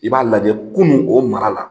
I b'a lajɛ kunun, o mara la,